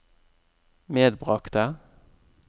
medbragte